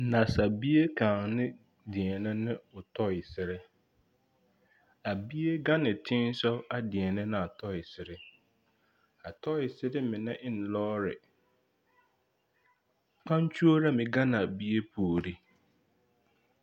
Nansabie kaŋa na deԑnԑ ne o tͻԑsere. A bie gaŋ ne teŋԑ sogͻ a deԑnԑ ne a tͻԑsere. A tͻԑsere mine e la lͻͻre. Kpaŋkyuro meŋ gaŋ la a bie puori.